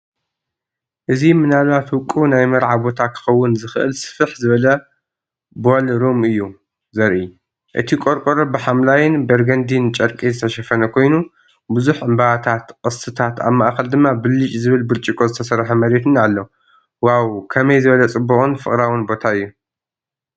እዚ ምናልባት ውቁብ ናይ መርዓ ቦታ ክኸውን ዝኽእል ስፍሕ ዝበለ ቦልሩም እዩ ዘርኢ። እቲ ቆርቆሮ ብሐምላይን በርገንዲን ጨርቂ ዝተሸፈነ ኮይኑ፣ ብዙሕ ዕምባባታት፡ቅስትታት ኣብ ማእከል ድማ ብልጭ ዝብል ብርጭቆ ዝተሰርሐ መሬትን ኣሎ።"ዋው! ከመይ ዝበለ ጽቡቕን ፍቕራዊን ቦታ'ዩ።"